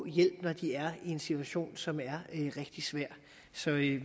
hjælp når de er i en situation som er rigtig svær så vi